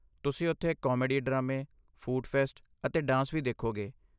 ਤੁਸੀਂ ਉੱਥੇ ਕਾਮੇਡੀ ਡਰਾਮੇ, ਫੂਡ ਫੈਸਟ ਅਤੇ ਡਾਂਸ ਵੀ ਦੇਖੋਗੇ।